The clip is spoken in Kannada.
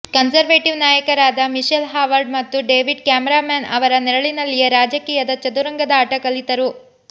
ಕನ್ಸರ್ವೇಟಿವ್ ನಾಯಕರಾದ ಮಿಷೆಲ್ ಹಾವರ್ಡ್ ಮತ್ತು ಡೇವಿಡ್ ಕ್ಯಾಮರಾನ್ ಅವರ ನೆರಳಿನಲ್ಲಿಯೇ ರಾಜಕೀಯದ ಚದುರಂಗದಾಟ ಕಲಿತರು